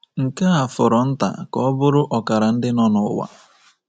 Nke a fọrọ nta ka ọ bụrụ ọkara ndị nọ n'ụwa.